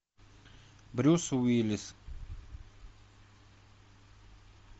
брюс уиллис